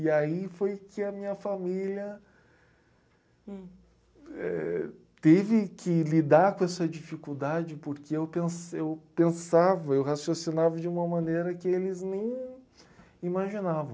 E aí foi que a minha família... Hum... Eh, teve que lidar com essa dificuldade porque eu pens eu pensava, eu raciocinava de uma maneira que eles nem imaginavam.